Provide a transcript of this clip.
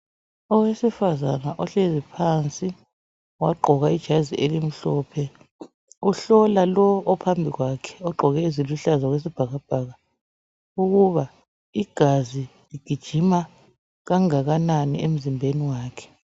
Owesifazana ohlezi phansi wagqoka ijazi elimhlophe ohlola lowo ophambi kwakhe ogqoke eziluhlaza okwesibhakabhaka ukuba igazi ligijima kangakanani emzimbeni wakhe.